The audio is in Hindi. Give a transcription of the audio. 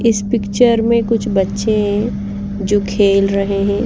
इस पिक्चर में कुछ बच्चे हैं जो खेल रहे हैं।